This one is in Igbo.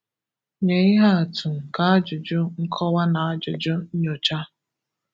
Nye ihe atụ nke ajụjụ nkọwa na ajụjụ nnyocha.